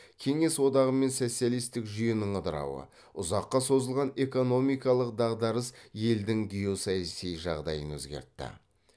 кеңес одағы мен социалистік жүйенің ыдырауы ұзаққа созылған экономикалық дағдарыс елдің геосаяси жағдайын өзгертті